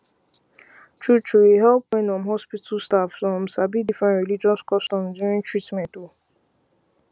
truetrue e help wen um hospital staff um sabi different religious customs during treatment um